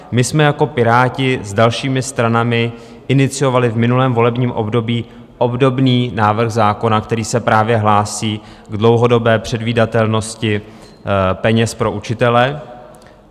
My jsme jako Piráti s dalšími stranami iniciovali v minulém volebním období obdobný návrh zákona, který se právě hlásí k dlouhodobé předvídatelnosti peněz pro učitele.